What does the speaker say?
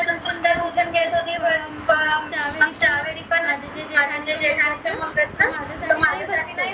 चार ही जे काही असते मंग त माझ्यासाठी